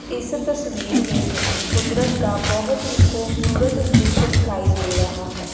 इस तस्वीर में हमें कुदरत का बहोत ही खूबसूरत दृश्य दिखाई दे रहा है।